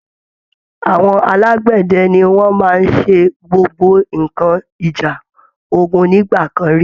Àwọn alágbẹ̀dẹ ni wọ́n máa ń ṣe gbogbo nǹkan ìjà ogun nígbà kan rí